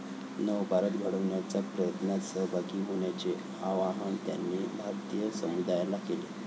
नवभारत घडवण्याच्या प्रयत्नात सहभागी होण्याचे आवाहन त्यांनी भारतीय समुदायाला केले.